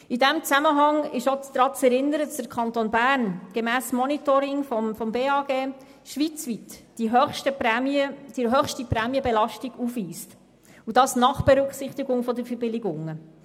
In diesem Zusammenhang ist auch daran zu erinnern, dass der Kanton Bern gemäss Monitoring des Bundesamts für Gesundheit (BAG) schweizweit die höchste Prämienbelastung aufweist und dies nach Berücksichtigung der Verbilligungen.